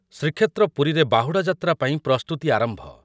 ଶ୍ରୀକ୍ଷେତ୍ର ପୁରୀରେ ବାହୁଡ଼ା ଯାତ୍ରା ପାଇଁ ପ୍ରସ୍ତୁତି ଆରମ୍ଭ ।